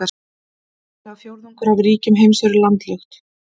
Tæplega fjórðungur af ríkjum heims eru landlukt.